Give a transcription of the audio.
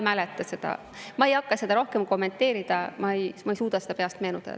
Ma ei hakka seda rohkem kommenteerima, ma ei suuda seda täpselt meenutada.